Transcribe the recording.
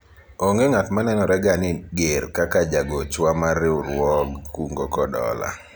onge ng'at ma nenore ga ni ger kaka jagochwa mar riwruog kungo kod hola